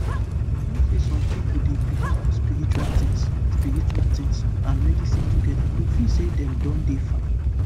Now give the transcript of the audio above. you know say some pipo dey belief on spiritual tins spiritual tins and medicine together to feel say dem don dey fine